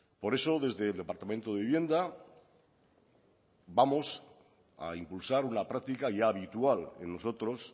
por eso desde el departamento de vivienda vamos a impulsar una práctica ya habitual en nosotros